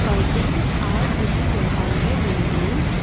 curtains are visible on the windows.